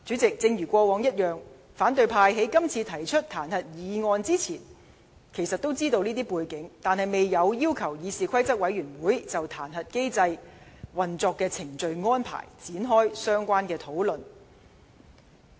正如過往一樣，反對派議員在提出這次彈劾議案之前，也明知道這些背景，但他們未有要求議事規則委員會就彈劾機制的運作程序和安排，展開相關討論。